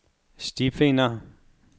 stifinder